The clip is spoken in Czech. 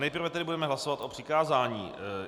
Nejprve tedy budeme hlasovat o přikázání.